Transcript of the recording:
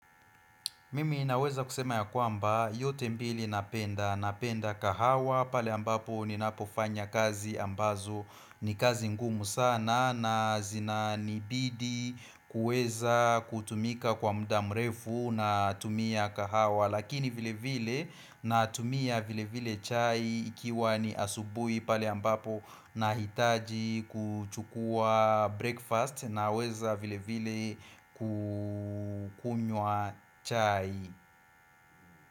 Mimi naweza kusema ya kwamba yote mbili napenda, napenda kahawa pale ambapo ni napofanya kazi ambazo ni kazi ngumu sana na zina nibidi kuweza kutumika kwa mda mrefu natumia kahawa Lakini vile vile natumia vile vile chai ikiwa ni asubui pale ambapo na hitaji kuchukua breakfast na weza vile vile kukunywa chai.